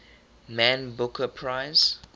man booker prize